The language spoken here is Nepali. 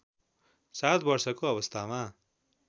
सात वर्षको अवस्थामा